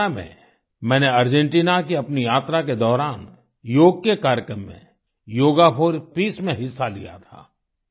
2018 में मैंने अर्जेंटिना की अपनी यात्रा के दौरान योग के कार्यक्रम में योगा फोर पीस में हिस्सा लिया था